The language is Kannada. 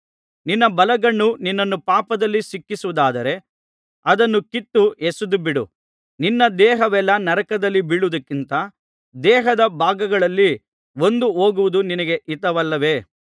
ನಿನ್ನ ಬಲಗಣ್ಣು ನಿನ್ನನ್ನು ಪಾಪದಲ್ಲಿ ಸಿಕ್ಕಿಸುವುದಾದರೆ ಅದನ್ನು ಕಿತ್ತು ಎಸೆದುಬಿಡು ನಿನ್ನ ದೇಹವೆಲ್ಲಾ ನರಕದಲ್ಲಿ ಬೀಳುವುದಕ್ಕಿಂತ ದೇಹದ ಭಾಗಗಳಲ್ಲಿ ಒಂದು ಹೋಗುವುದು ನಿನಗೆ ಹಿತವಲ್ಲವೇ